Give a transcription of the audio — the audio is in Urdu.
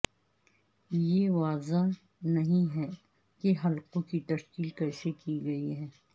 یہ واضح نہیں ہے کہ حلقوں کی تشکیل کیسے کی گئی ہے